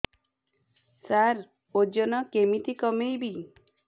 ସାର ଓଜନ କେମିତି କମେଇବି